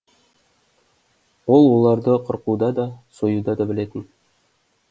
ол оларды қырқуда да союда да білетін